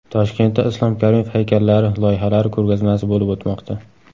Toshkentda Islom Karimov haykallari loyihalari ko‘rgazmasi bo‘lib o‘tmoqda.